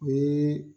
O ye